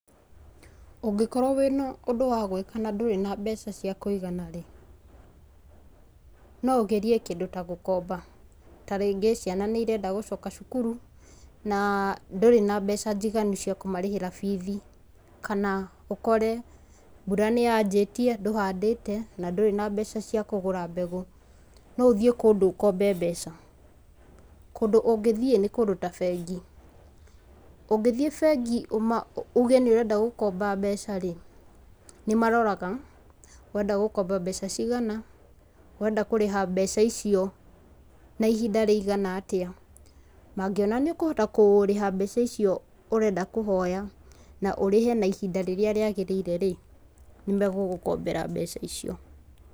Ũngĩkorwo wĩna ũndũ wa gwĩka na ndũrĩ na mbeca cia kũigana rĩ, no ũgerie kĩndũ ta gũkomba, tarĩngĩ ciana nĩirenda gũcoka cukuru, na ndũrĩ na mbeca njiganu cia kũmarĩhĩra bithi, kana ũkore mbura nĩyanjĩtie, ndũhandĩte, na ndũrĩ nambeca cia kũgũra mbegũ, no ũthiĩ kũndũ ũkombe mbeca. Kũndũ ũngĩthiĩ nĩ kũndũ ta bengi. ũngĩthiĩ bengi uge nĩũrenda gũkomba mbeca rĩ, nĩmaroraga ũrenda gũkomba mbeca cigana, ũrenda kũrĩha mbeca icio na ihinda rĩigana atĩa, mangiona nĩũkũhota kũrĩha mbeca icio ũrenda kũhoya, na ũrĩhe na ihinda rĩrĩa rĩagĩrĩire rĩ, nĩmagũgũkombera mbeca icio.